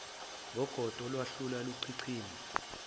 ngogodo olwaluhlala luchichima